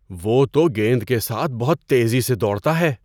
وہ تو گیند کے ساتھ بہت تیزی سے دوڑتا ہے!